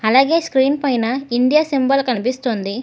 అలాగే స్క్రీన్ పైన India symbol కనిపిస్తుంది.